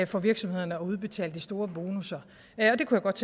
for virksomhederne at udbetale de store bonusser jeg kunne godt